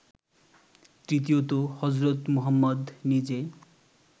তৃতীয়ত হজরত মুহম্মদ নিজে